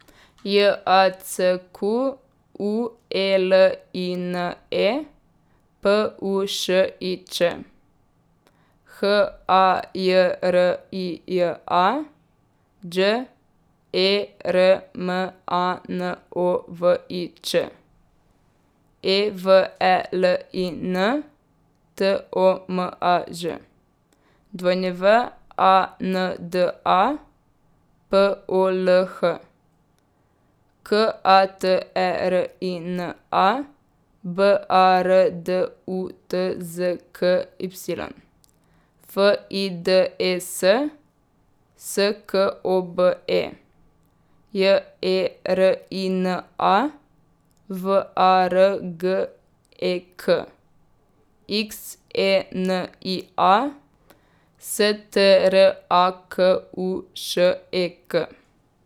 J A C Q U E L I N E, P U Š I Č; H A J R I J A, Đ E R M A N O V I Ć; E V E L I N, T O M A Ž; W A N D A, P O L H; K A T E R I N A, B A R D U T Z K Y; F I D E S, S K O B E; J E R I N A, V A R G E K; X E N I A, S T R A K U Š E K.